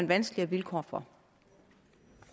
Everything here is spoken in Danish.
vanskelige vilkår for